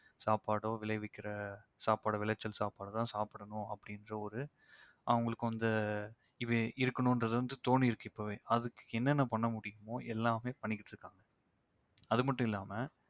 சாப்பாடோ விளைவிக்கிற சாப்பாட விளைவிச்சல் சாப்பாட தான் சாப்பிடணும் அப்படின்ற ஒரு அவங்களுக்கு அந்த இது இருக்கணும்ன்றது வந்து தோணியிருக்கு இப்பவே அதுக்கு என்னென்ன பண்ண முடியுமோ எல்லாமே பண்ணிகிட்டிருக்காங்க அது மட்டும் இல்லாம